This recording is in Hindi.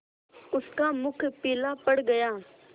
उसका मुख पीला पड़ गया